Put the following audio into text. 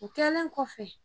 O kɛlen kɔfɛ.